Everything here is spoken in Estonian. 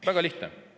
Väga lihtne!